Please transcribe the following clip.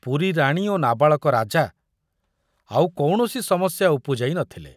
ପୁରୀ ରାଣୀ ଓ ନାବାଳକ ରାଜା ଆଉ କୌଣସି ସମସ୍ୟା ଉପୁଜାଇ ନ ଥିଲେ।